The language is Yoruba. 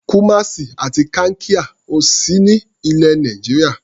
Kumasi àti Kankia ò sí ní ilẹ̀ Nàìjíríà.